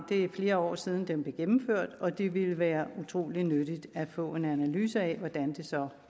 flere år siden den blev gennemført og det ville være utrolig nyttigt at få en analyse af hvordan det så